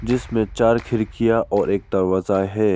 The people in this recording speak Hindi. जिसमे चार खिड़कियाँ और एक दरवाजा है।